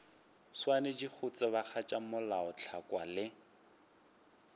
swanetše go tsebagatša melaotlhakwa le